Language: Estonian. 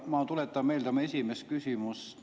Ma tuletan meelde oma esimest küsimust.